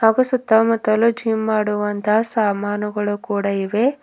ಹಾಗೂ ಸುತ್ತಮುತ್ತಲು ಜಿಮ್ ಮಾಡುವಂತಹ ಸಾಮಾನುಗಳು ಕೂಡ ಇವೆ.